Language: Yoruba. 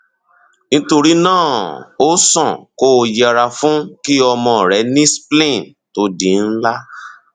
nítorí náà ó sàn kó o yẹra fún kí ọmọ rẹ ní spleen to di ńlá